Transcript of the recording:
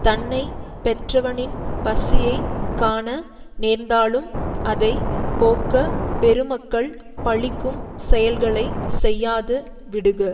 தன்னை பெற்றவனின் பசியை காண நேர்ந்தாலும் அதை போக்கப் பெருமக்கள் பழிக்கும் செயல்களை செய்யாது விடுக